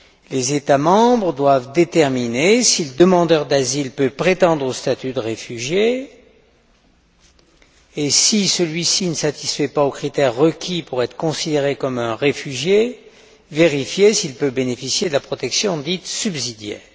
Les États membres doivent déterminer si le demandeur d'asile peut prétendre au statut de réfugié et, si celui ci ne satisfait pas aux critères requis pour être considéré comme un réfugié, vérifier s'il peut bénéficier de la protection dite subsidiaire.